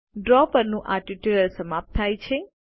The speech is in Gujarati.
ડ્રો પરનું આ ટ્યુટોરીયલ સમાપ્ત થાય છે